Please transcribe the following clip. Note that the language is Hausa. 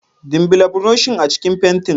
dimbila burushin a cikin fentin.